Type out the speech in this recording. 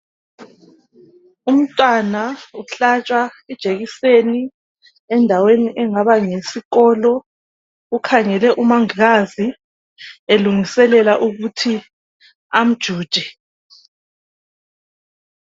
Umntwana uhlatshwa ijekiseni endaweni engaba ngeyesikolo. Ukhangele umanglazi elungiselela ukuthi amjuje